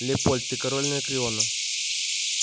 лепольд ты король анакреона